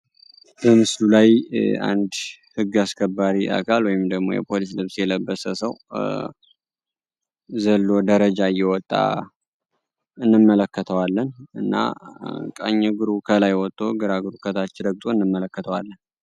በምስሉ ላይ አንድ ህግ አስከባሪ አካል ወይንም ደግሞ የፖሊስ ልብስ የለበሰ ሰው ዘሎ ደረጃ እየወጣ እንመለከተዋለን። እና ቀኝ እግሩ ከላይ ወጦ እግራ ግሩ ከታች ረግጦ እንመለከተዋለን።